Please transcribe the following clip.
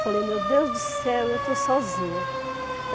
Falei, meu Deus do céu, eu estou sozinha.